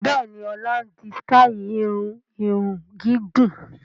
Bẹ́ẹ̀ni, ọlá ń di sítai irun ìhun gígùn